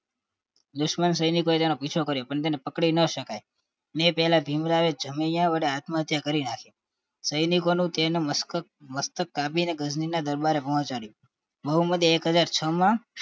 દુશ્મન સૈનિકો તેનો પીછો કર્યો પણ તેને પકડી ન શકાય એપેલા ભીમરાવે જમય વડે આત્મહત્યા કરી નાખી સૈનિક એ મસ્ત મસ્તક કાપી ગજની ના દરબારે પહોંચાડ્યું મોહમ્મદે એક હાજર છ માં